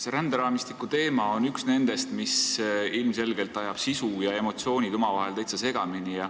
See ränderaamistiku teema on üks nendest, mis ilmselgelt ajab sisu ja emotsioonid omavahel täitsa segamini.